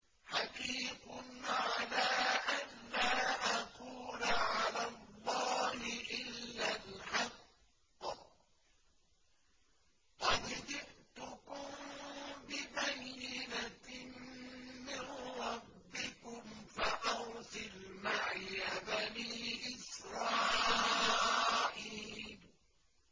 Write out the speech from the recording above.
حَقِيقٌ عَلَىٰ أَن لَّا أَقُولَ عَلَى اللَّهِ إِلَّا الْحَقَّ ۚ قَدْ جِئْتُكُم بِبَيِّنَةٍ مِّن رَّبِّكُمْ فَأَرْسِلْ مَعِيَ بَنِي إِسْرَائِيلَ